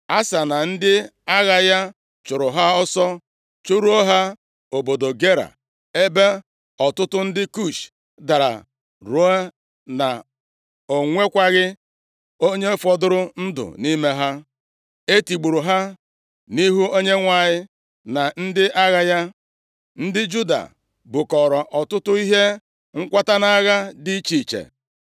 Asa na ndị agha ya chụrụ ha ọsọ chụruo ha obodo Gera ebe ọtụtụ ndị Kush dara, ruo na o nwekwaghị onye fọdụrụ ndụ nʼime ha. E tigburu ha nʼihu Onyenwe anyị na ndị agha ya. Ndị Juda bukọọrọ ọtụtụ ihe nkwata nʼagha dị iche iche.